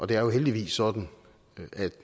det er jo heldigvis sådan